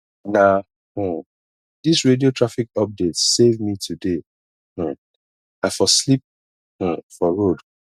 na um dis radio traffic updates save me today um i for sleep um for road